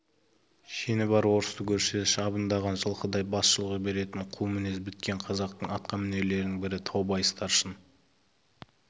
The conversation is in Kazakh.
шені бар орысты көрсе шыбындаған жылқыдай бас шұлғи беретін қу мінез біткен қазақтың атқамінерлерінің бірі таубай старшын